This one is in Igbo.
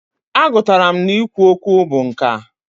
A gụtara m na i kwu okwu bụ nkà.